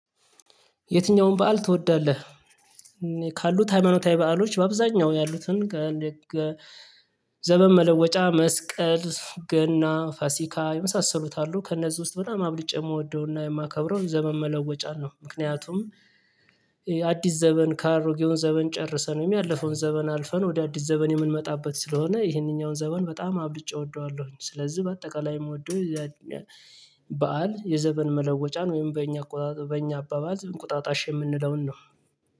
የትኛውም በዓል ትወዳለህ? ካሉት ሃይማኖታዊ በዓሎች በአብዛኛው ያሉትን ገለግ ዘመን መለወጫ መስቀል ገና ፋሲካ የመሳሰሉ አሉ ከእነዚህ ውስጥ በጣም አብልጬ የምወደውና የማከብረው ዘመን መለወጫ ነው። ምክንያቱም ዘመን ካሮጌው ዘመን ጨርሰን ያለፈውን ዘመን አልፈን ወደ አዲስ ዘመን የምንመጣበት ስለሆነ ይሄንኛውን ዘመን በጣም አብልጬ እወደዋለሁኝ። ስለዚህ በአጠቃላይ የምወደው በዓል የዘመን መለወጫን ወይም በእኛ በእኛ አባባል እንቁጣጣሽ የምንለውን ነው